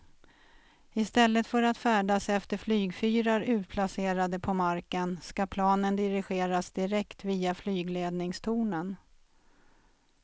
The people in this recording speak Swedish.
I stället för att färdas efter flygfyrar utplacerade på marken ska planen dirigeras direkt via flygledningstornen.